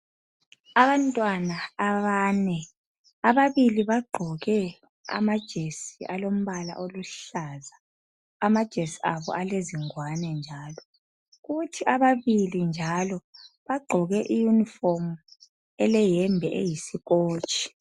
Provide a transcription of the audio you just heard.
Abantwana abane, ababili bagqoke amajesi alombala oluhlaza, amajesi abo alezingwane njalo. Kuthi abali njalo bagqoke iYunifomu eleyembe eyisikotshi.